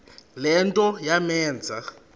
le nto yamenza